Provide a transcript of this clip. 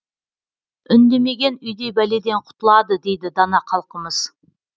үндемеген үйдей бәледен құтылады дейді дана халқымыз